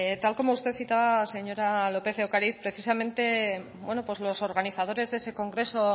tal como usted citaba señora lópez de ocariz precisamente los organizadores de ese congreso